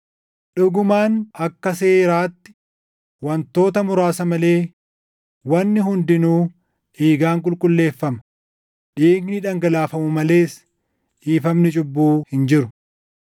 Dhugumaan akka seeraatti wantoota muraasa malee wanni hundinuu dhiigaan qulqulleeffama; dhiigni dhangalaafamu malees dhiifamni cubbuu hin jiru.